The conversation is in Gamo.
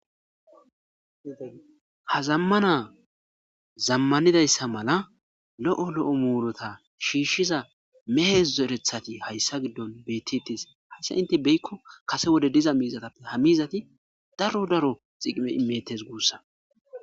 Ha zamana zamanidayssa mala lo'o lo'o murutta shishiza meehe zorettati hayssi giddon bettidides.hayssi intte be'ikko kase wode diza miizata. Ha mizatti daro daro dhiqime immettes gussakko.